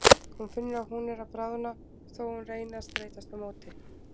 Hún finnur að hún er að bráðna þó að hún reyni að streitast á móti.